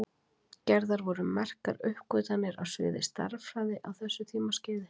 Gerðar voru merkar uppgötvanir á sviði stærðfræði á þessu tímaskeiði.